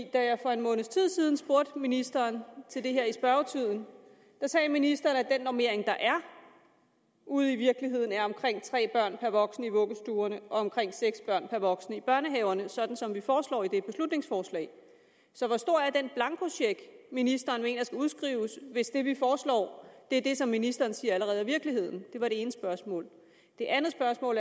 da jeg for en måneds tid siden spurgte ministeren til det her i spørgetiden sagde ministeren at den normering der er ude i virkeligheden er omkring tre børn per voksen i vuggestuerne og omkring seks børn per voksen i børnehaverne altså sådan som vi foreslår i det her beslutningsforslag så hvor stor er den blankocheck ministeren mener skal udskrives hvis det vi foreslår er det som ministeren siger allerede er virkeligheden det var det ene spørgsmål det andet spørgsmål